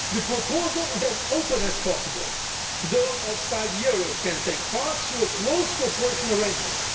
The proposal is as open as possible. Those outside the euro area can take part through a close cooperation arrangement.